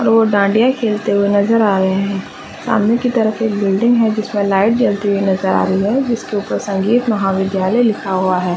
और वो डाँडीया खेलते हुए नज़र आ रहे है सामने की तरफ एक बिल्डिंग है जिसमे लाइट जलती हुई नज़र आ रही है जिसके ऊपर संगीत महाविद्यालय लिखा हुआ है।